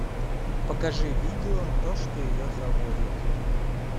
покажи видео то что ее заводит